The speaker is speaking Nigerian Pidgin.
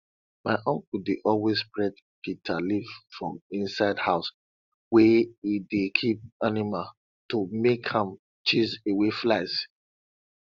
my uncle dey always spread bitter leaf for inside house wey e dey keep animal to make am chase away flies